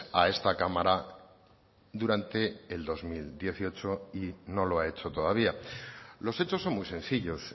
a esta cámara durante el dos mil dieciocho y no lo ha hecho todavía los hechos son muy sencillos